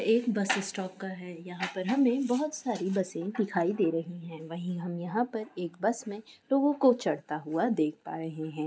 एक bus stop का है यहाँ पर हमें बहोत सारी बसें दिखाई दे रही हैं वहीँ हम यहाँ पर एक बस में लोगों को चढ़ता हुआ देख पा रहे हैं।